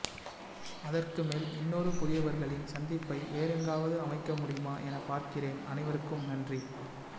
அதற்கு மேல் இன்னொரு புதியவர்களின் சந்திப்பை வேறெங்காவது அமைக்கமுடியுமா என பார்க்கிறேன் அனைவருக்கும் நன்றி